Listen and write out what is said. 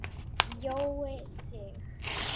Á eftir niðrá